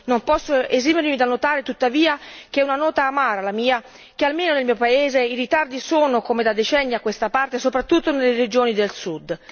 Non posso esimermi dal notare tuttavia è una nota amara, la mia che, almeno nel mio paese, i ritardi si riscontrano, come da decenni a questa parte, soprattutto nelle regioni del Sud.